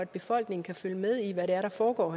befolkningen kan følge med i hvad der foregår